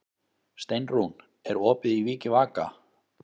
Steinrún, er opið í Vikivaka?